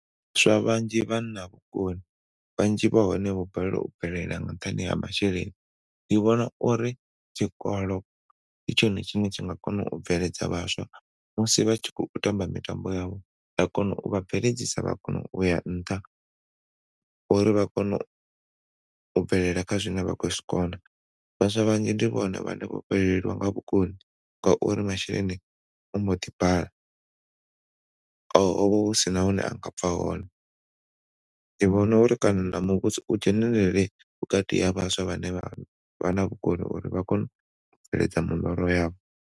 Vhaswa vhanzhi vha na vhukoni vhanzhi vha hone vho balelwa u bvelela nga nṱhani ha masheleni. Ndi vhona uri tshikolo ndi tshone tshine tsha nga kona u bveledza vhaswa musi vha tshi khou tamba mitambo yavho zwa kona u vha bveledzisa vhakona uya nṱha uri vha kone u bvelela kha zwine vha khou zwikona. Vhaswa vhanzhi ndi vhone vhane vho fhelelwa nga vhukoni ngauri masheleni ambo ḓi bala ho vha husina hune a nga bva hone. Ndi vhona uri kana na muvhuso u dzhenelele vhukati ha vhaswa vha ne vha na vhukoni uri vha kone u bveledza miḽoro yavho.